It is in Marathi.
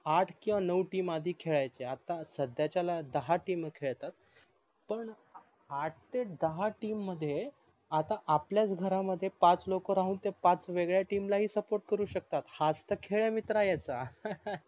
आठ किवा नव team आधी खेडायच्या आता संध्याच्याला दहा team खेडतात पण आठ ते दहा team मध्ये आता आपल्याच घरमध्ये पाच लोक राहून ते पाच वेगद्या team ल पान support करू शकतात हाच तर खेळ आहे मित्रा याचा